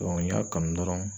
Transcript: n y'a kanu dɔrɔn